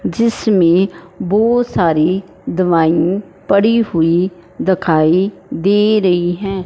जिसमें बहुत सारी दवाई पड़ी हुई दिखाई दे रही हैं।